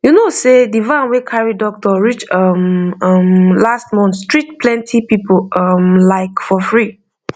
you know sey the van wey carry doctor reach um um last month treat plenty people um like for free